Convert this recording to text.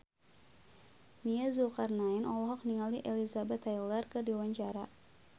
Nia Zulkarnaen olohok ningali Elizabeth Taylor keur diwawancara